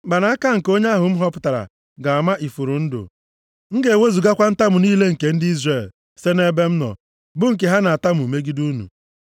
Mkpanaka nke onye ahụ m họpụtara ga-ama ifuru ndụ. M ga-ewezugakwa ntamu niile nke ndị Izrel site nʼebe m nọ, bụ nke ha na-atamu megide unu.”